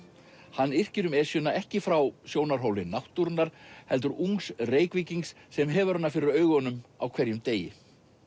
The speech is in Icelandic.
hann yrkir um Esjuna ekki frá sjónarhóli náttúrunnar heldur ungs Reykvíkings sem hefur hana fyrir augunum á hverjum degi